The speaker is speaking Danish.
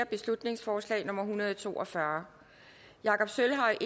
beslutningsforslag nummer hundrede og to og fyrre jakob sølvhøj